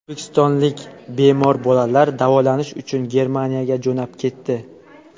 O‘zbekistonlik bemor bolalar davolanish uchun Germaniyaga jo‘nab ketdi.